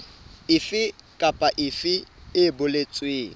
efe kapa efe e boletsweng